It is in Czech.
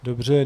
Dobře.